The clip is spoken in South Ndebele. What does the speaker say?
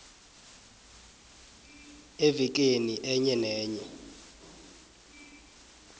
evekeni enye nenye